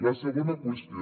la segona qüestió